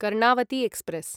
Karnavati express